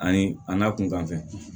Ani a n'a kunkanfɛ